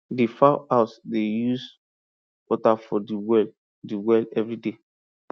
di fowl house dey use water from di well di well everyday